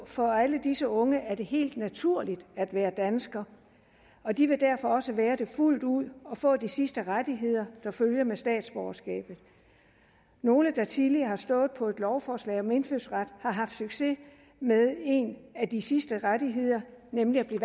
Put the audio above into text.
for alle disse unge er det helt naturligt at være dansker de vil derfor også være det fuldt ud og få de sidste rettigheder der følger med statsborgerskabet nogle der tidligere har stået på et lovforslag om indfødsret har haft succes med en af de sidste rettigheder nemlig at blive